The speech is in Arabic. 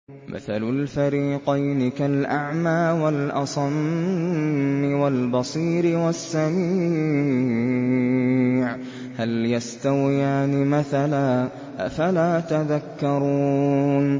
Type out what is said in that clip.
۞ مَثَلُ الْفَرِيقَيْنِ كَالْأَعْمَىٰ وَالْأَصَمِّ وَالْبَصِيرِ وَالسَّمِيعِ ۚ هَلْ يَسْتَوِيَانِ مَثَلًا ۚ أَفَلَا تَذَكَّرُونَ